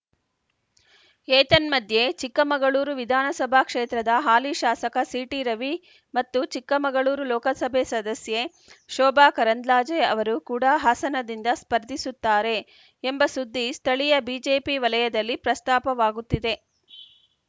ಏತನ್ಮಧ್ಯೆ ಚಿಕ್ಕಮಗಳೂರು ವಿಧಾನಸಭಾ ಕ್ಷೇತ್ರದ ಹಾಲಿ ಶಾಸಕ ಸಿಟಿರವಿ ಮತ್ತು ಚಿಕ್ಕಮಗಳೂರು ಲೋಕಸಭೆ ಸದಸ್ಯೆ ಶೋಭಾ ಕರಂದ್ಲಾಜೆ ಅವರು ಕೂಡ ಹಾಸನದಿಂದ ಸ್ಪರ್ಧಿಸುತ್ತಾರೆ ಎಂಬ ಸುದ್ದಿ ಸ್ಥಳೀಯ ಬಿಜೆಪಿ ವಲಯದಲ್ಲಿ ಪ್ರಸ್ತಾಪವಾಗುತ್ತಿದೆ